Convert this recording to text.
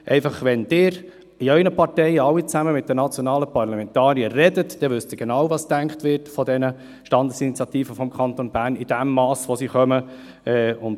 Wenn Sie in Ihren Parteien mit Ihren nationalen Parlamentariern sprechen, erfahren sie genau, was über die Standesinitiativen des Kantons Bern und über deren Menge gedacht wird.